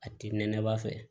A timinɛnba fɛ